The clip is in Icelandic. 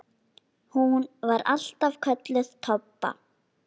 Hún var alltaf kölluð Tobba.